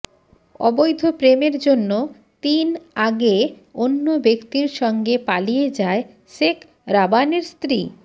অবৈধ প্রেমের জন্য তিন আগে অন্য ব্যক্তির সঙ্গে পালিয়ে যায় শেখ রাবানের স্ত্রী